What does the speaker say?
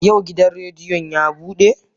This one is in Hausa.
Yau gidan rediyon ya bude?